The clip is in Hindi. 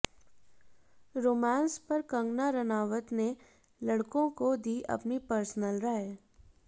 रोमांस पर कंगना रानावत ने लड़कों को दी अपनी पर्सनल राय